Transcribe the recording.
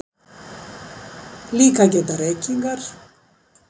Líka geta reykingar